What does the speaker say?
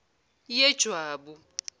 yejwabu